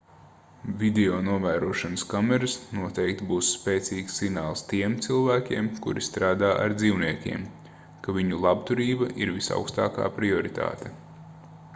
videonovērošanas kameras noteikti būs spēcīgs signāls tiem cilvēkiem kuri strādā ar dzīvniekiem ka viņu labturība ir visaugstākā prioritāte